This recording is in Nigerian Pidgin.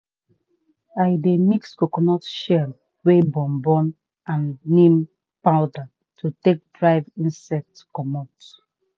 i dey mix coconut shell wey burn burn and neem powder to take drive insect comot.